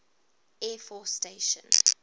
air force station